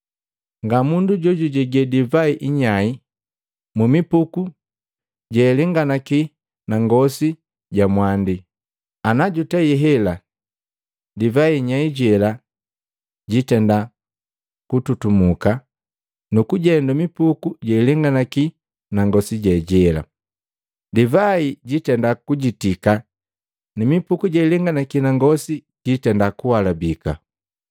Nga mundu jojujege divai inyai mumipuku jealenganaki na ngosi ja mwandi. Ana jutei hela, divai inyai jela jitenda kututumuka nukujendu mipuku jealenganaki na ngosi je jela, divai jiitenda kujitika ni mipuku jealenganaki na ngosi jitenda kuhalabika.